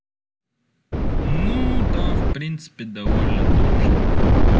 ну да в принципе довольно точно